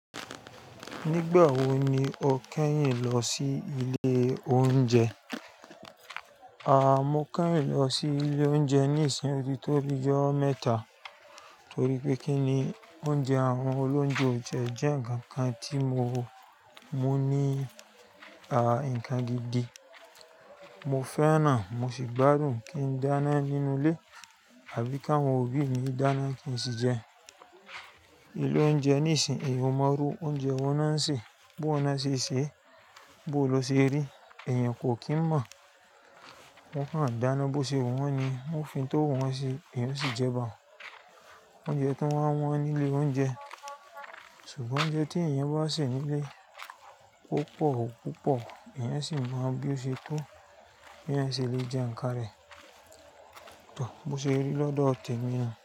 Nígbà wo ni o kẹ́yìn lọ sí ilé oúnjẹ? Mo kẹ́yìn lọ sí ilé oúnjẹ ní ìsìn otí tó bi ijo mẹ́tà torí pé kíni oúnjẹ àwọn olóunjẹ ò jẹ́ ǹkan kan tí mo mú ní ǹkan gidi. Mo fẹ́ràn, mo sì gbádùn kí ń dáná nínú ilé abí káwọn òbí mi dáná kí n sì jẹun. Ilé oúnjẹ ní ìsìn èèyàn o mọ iru oúnjẹ wọn maá ṣe, bó woń ṣe ṣè, bó lo ṣe rí èèyàn kò kí ń mọ̀. Wọn kàn dáná bó ṣe wu wọ́n ni, wọ́n fi n tó wu wọn ṣi èèyàn o sì jẹ ba hun. Oúnjẹ gan wa wọ́n ní ilé oúnjẹ ṣùgbọ́n oúnjẹ tí èèyàn bá sè nílé, púpọ̀ púpọ̀ èèyàn o sì mọ bí ó ṣe tó, bí ẹo ṣe lè jẹ ǹkan rẹ̀. Tò, bó ṣe rí lọ́dọ̀ tẹ̀ mi.